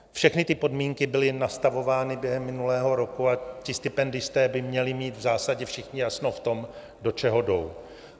Všechny ty podmínky byly nastavovány během minulého roku a ti stipendisté by měli mít v zásadě všichni jasno v tom, do čeho jdou.